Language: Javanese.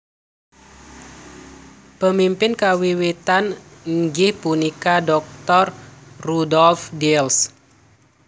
Pemimpin kawiwitan inggih punika Dr Rudolf Diels